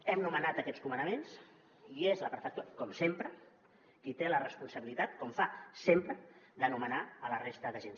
hem nomenat aquests comandaments i és la prefectura com sempre qui té la responsabilitat com fa sempre de nomenar la resta d’agents